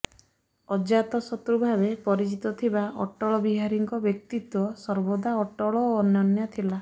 ଅଜାତଶତ୍ରୁ ଭାବେ ପରିଚିତ ଥିବା ଅଟଳ ବିହାରୀଙ୍କ ବ୍ୟକ୍ତିତ୍ବ ସର୍ବଦା ଅଟଳ ଓ ଅନନ୍ୟ ଥିଲା